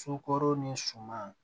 Sokoro ni suman